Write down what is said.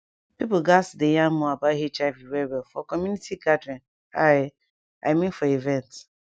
pipo gatz dey yarn more about hiv well well for community gathering i i mean for events